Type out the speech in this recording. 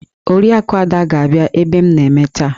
Oriakụ Ada ga-abia ebe m na-eme taa